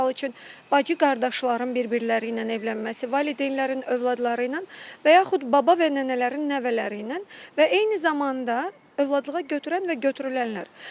Misal üçün, bacı-qardaşların bir-birləri ilə evlənməsi, valideynlərin övladları ilə və yaxud baba və nənələrin nəvələri ilə və eyni zamanda övladlığa götürən və götürülənlər.